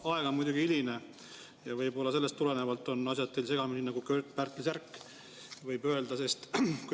Aeg on muidugi hiline ja võib-olla sellest tulenevalt on asjad teil segamini nagu Kört-Pärtli särk, võib nii öelda.